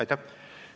Aitäh!